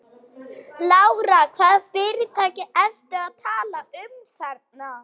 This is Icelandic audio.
Lára: Hvaða fyrirtæki ertu að tala um þarna?